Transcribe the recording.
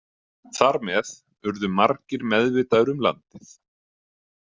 Þar með urðu margir meðvitaðir um landið.